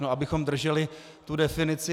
No, abychom drželi tu definici.